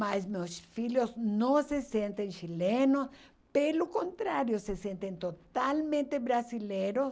Mas meus filhos não se sentem chilenos, pelo contrário, se sentem totalmente brasileiros.